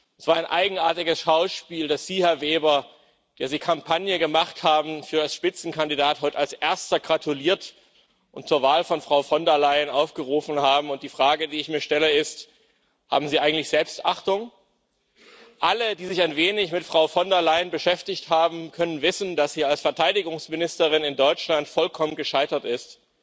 Es war ein eigenartiges Schauspiel, dass Sie, Herr Weber, der Sie die Kampagne für Spitzenkandidaten geführt haben, heute als Erster gratuliert und zur Wahl von Frau von der Leyen aufgerufen haben, und die Frage, die ich mir stelle, ist Haben Sie eigentlich Selbstachtung? Alle, die sich ein wenig mit Frau von der Leyen beschäftigt haben, können wissen, dass sie als Verteidigungsministerin in Deutschland vollkommen gescheitert ist.